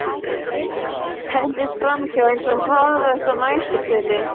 Hendist framhjá eins og hraðlest að næturþeli.